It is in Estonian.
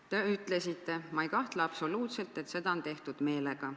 Te ütlesite nii: "Ma ei kahtle absoluutselt, et seda on tehtud meelega.